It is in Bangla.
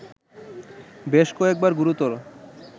বেশ কয়েকবার গুরুতর